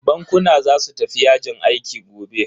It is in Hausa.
Bankuna za su tafi yajin aiki gobe.